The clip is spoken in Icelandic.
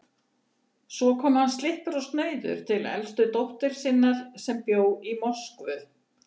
Svo kom hann slyppur og snauður til elstu dóttur sinnar, sem bjó í Moskvu.